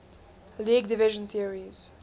league division series